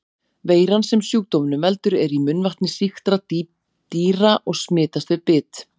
Veiran sem sjúkdómnum veldur er í munnvatni sýktra dýra og smitast við bit.